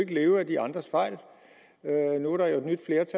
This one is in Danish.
kan leve af de andres fejl